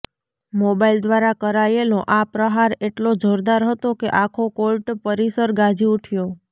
mobile દ્વારા કરાયેલો આ પ્રહાર એટલો જોરદાર હતો કે આખો કોર્ટ પરિસર ગાજી ઉઠ્યો